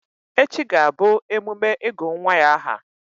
Echi ga-abụ emume ịgụ̀ nwa ya ahà.